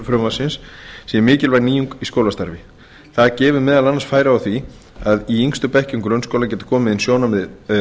frumvarpsins sé mikilvæg nýjung í skólastarfi það gefi meðal annars færi á því að í yngstu bekkjum grunnskóla geti komið inn sjónarmið